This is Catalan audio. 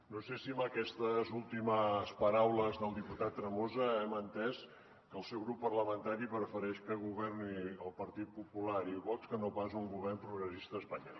no sé si amb aquestes últimes paraules del diputat tremosa hem entès que el seu grup parlamentari prefereix que governin el partit popular i vox que no pas un govern progressista a espanya